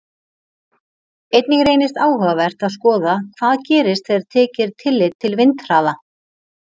Einnig reynist áhugavert að skoða hvað gerist þegar tekið er tillit til vindhraða.